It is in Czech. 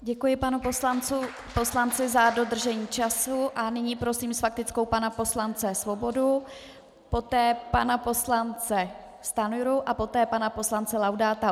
Děkuji panu poslanci za dodržení času a nyní prosím s faktickou pana poslance Svobodu, poté pana poslance Stanjuru a poté pana poslance Laudáta.